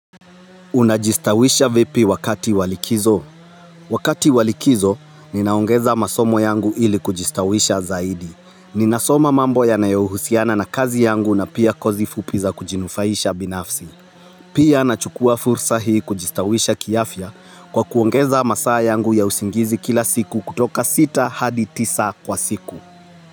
Unajistawisha vipi wakati wa likizo? Wakati wa likizo, ninaongeza masomo yangu ili kujistawisha zaidi. Ninasoma mambo yanayo husiana na kazi yangu na pia kozi fupi za kujinufaisha binafsi. Pia anachukua fursa hii kujistawisha kiafya kwa kuongeza masaa yangu ya usingizi kila siku kutoka sita hadi tisa kwa siku.